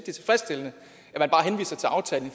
er tilfredsstillende